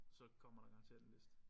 Så kommer der garanteret en liste